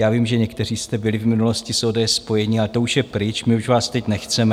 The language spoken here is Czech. Já vím, že někteří jste byli v minulosti s ODS spojení, ale to už je pryč, my už vás teď nechceme.